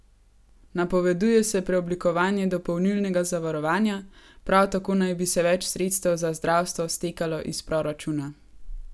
Napoveduje se preoblikovanje dopolnilnega zavarovanja, prav tako naj bi se več sredstev za zdravstvo stekalo iz proračuna.